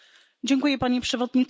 Panie Przewodniczący!